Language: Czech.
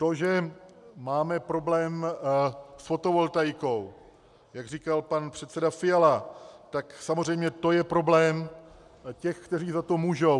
To, že máme problém s fotovoltaikou, jak říkal pan předseda Fiala, tak samozřejmě to je problém těch, kteří za to můžou.